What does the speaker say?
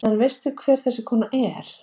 En veistu hver þessi kona er?